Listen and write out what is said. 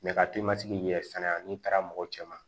ka telimantigi yɛrɛ fɛnɛ la n'i taara mɔgɔ cɛman